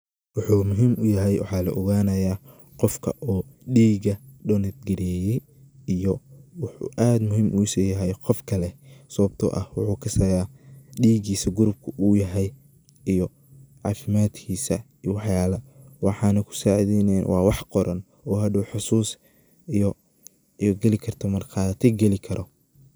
Wuxuu muhim u yahay waxaa laoganaya qofka oo dhiga donetgareye iyo wuxu aad muhim ugu si yahay qof kale sababto ah wuxu kasaya dhigisa gurupka uu yahay iyo cafimadkisa iyo wax yala Waxana kusacideynaya waa wax qoran oo hadow xusus iyo gali karto , marqati gali karo.